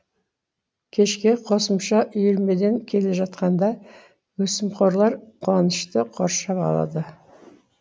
кешке қосымша үйірмеден келе жатқанда өсімқорлар қуанышты қоршап алады